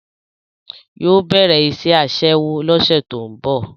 Yóò bẹ̀rẹ̀ iṣẹ́ Aṣẹ́wó lọ́sẹ̀ tó ń bọ̀